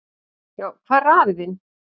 """Já, hvar er hann afi þinn?"""